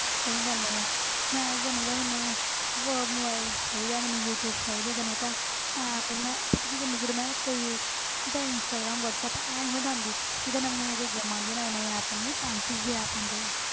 ਸਹੀ ਗੱਲ ਹੈ ਯਾਰ ਮੈਂ ਤੇ ਤੈਨੂੰ ਪਤਾ ਮੈਨੂੰ ਬ~ mobile ਚਾਹੀਦਾ ਮੈਨੂੰ ਯੂ ਟਿਊਬ ਚਾਹੀਦੀ ਹੈ ਤੈਨੂੰ ਪਤਾ app ਮੈਂ ਪਤਾ ਕੀ ਕਰਦੀ ਹਾਂ ਜਦੋਂ ਮੈਂ ਕਦੇ ਜਿੱਦਾਂ ਇੰਸਟਾਗ੍ਰਾਮ ਵਾਟਸੈਪ ਇਹ ਨੀ ਮੈਂ ਡਾਉਂਦੀ ਜਿੱਦਾਂ ਨਵੀਆਂ ਨਵੀਂਆਂ ਕੋਈ games ਆਉਂਦੀਆਂ, ਨਵੇਂ ਨਵੇਂ app ਆਉਂਦੇ fancy ਜਿਹੇ app ਆਉਂਦੇ ਆ,